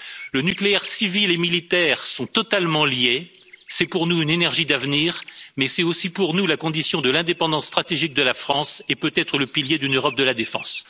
Le nucléaire civil et le nucléaire militaire sont totalement liés, c'est pour nous une énergie d'avenir, mais c'est aussi, pour nous, la condition de l'indépendance stratégique de la France et peut être le pilier d'une Europe de la défense.